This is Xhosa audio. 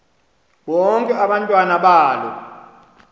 bonke abantwana balo